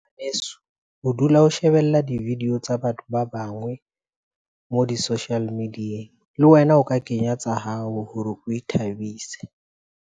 Ho dula ho shebella di-video tsa batho ba bangwe mo di-social media-eng. Le wena o ka kenya tsa hao hore o ithabise.